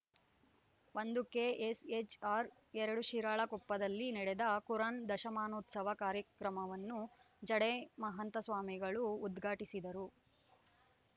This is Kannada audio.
ಒಂದು ಕೆ ಎಸ್‌ ಹೆಚ್‌ ಆರ್‌ ಎರಡು ಶಿರಾಳಕೊಪ್ಪದಲ್ಲಿ ನಡೆದ ಕುರಾನ್‌ ದಶಮಾನೋತ್ಸವ ಕಾರ್ಯಕ್ರಮವನ್ನು ಜಡೆ ಮಹಂತಸ್ವಾಮಿಗಳು ಉದ್ಘಾಟಿಸಿದರು